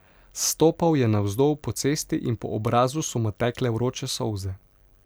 Stopal je navzdol po cesti in po obrazu so mu tekle vroče solze.